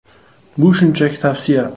“Bu shunchaki tavsiya.